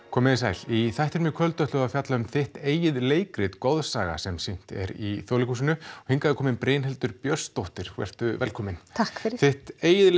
komið þið sæl í þættinum í kvöld ætlum við að fjalla um þitt eigið leikrit goðsaga sem sýnt er í Þjóðleikhúsinu hingað er komin Brynhildur Björnsdóttir vertu velkomin takk fyrir þitt eigið